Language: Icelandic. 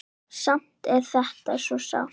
Samt er þetta svo sárt.